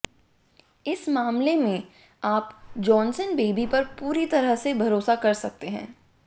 इस मामले में आप जॉनसन बेबी पर पूरी तरह से भरोसा कर सकते हैं